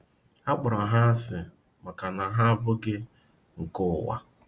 A Kpọrọ ha asị maka na ha “ Abụghị nke Ụwa ”